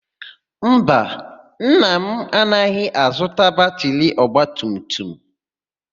Mba, nna m agaghị azụta batịrị ọgbatumtum.